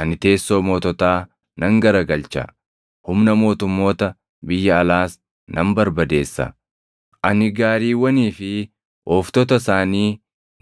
Ani teessoo moototaa nan garagalcha; humna mootummoota biyya alaas nan barbadeessa. Ani gaariiwwanii fi ooftota isaanii